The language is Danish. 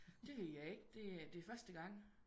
Det ved jeg ikke det det er første gang